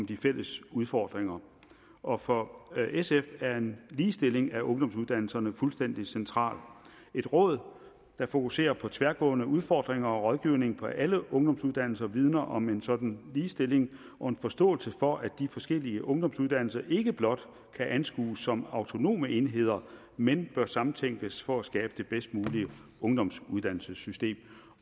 de fælles udfordringer og for sf er en ligestilling af ungdomsuddannelserne fuldstændig centralt et råd der fokuserer på tværgående udfordringer og rådgivning for alle ungdomsuddannelser vidner om en sådan ligestilling og en forståelse for at de forskellige ungdomsuddannelser ikke blot kan anskues som autonome enheder men bør samtænkes for at skabe det bedst mulige ungdomsuddannelsessystem